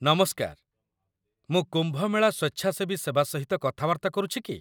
ନମସ୍କାର, ମୁଁ କୁମ୍ଭ ମେଳା ସ୍ୱେଚ୍ଛାସେବୀ ସେବା ସହିତ କଥାବାର୍ତ୍ତା କରୁଛି କି?